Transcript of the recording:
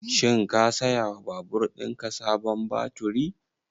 Shin ka saya wa babur ɗin ka sabon baturi?